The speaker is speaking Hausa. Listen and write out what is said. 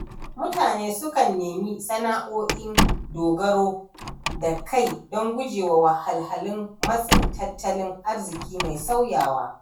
Mutane sukan nemi sana’o’in dogaro da kai don gujewa wahalar matsin tattalin arziki mai sauyawa.